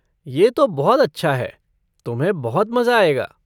ये तो बहुत अच्छा है, तुम्हें बहुत मज़ा आएगा।